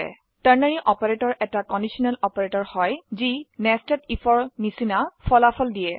ternary operator এটা conditional অপাৰেটৰা হয় যি nested আইএফ এৰ নিচিনা ফলাফল দিয়ে